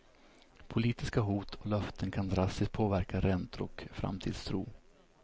Politiska hot och löften kan drastiskt påverka räntor och framtidstro.